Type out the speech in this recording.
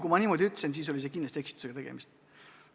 Kui ma niimoodi ütlesin, siis oli kindlasti eksitusega tegemist.